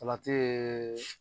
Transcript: Salati yee